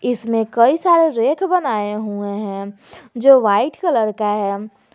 इसमें कई सारे रैक बनाए हुए हैं जो व्हाइट कलर का है।